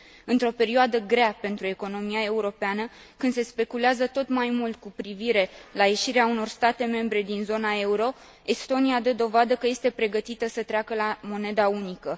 Într o perioadă grea pentru economia europeană, când se speculează tot mai mult cu privire la ieșirea unor state membre din zona euro, Estonia dă dovadă că este pregătită să treacă la moneda unică.